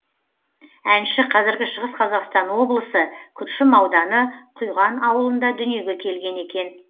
әнші қазіргі шығыс қазақстан облысы күршім ауданы құйған аулында дүниеге келген екен